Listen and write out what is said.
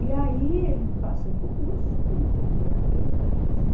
E aí ele passou no concurso, então ele ganhava bem mais.